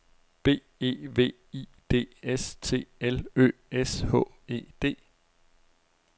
B E V I D S T L Ø S H E D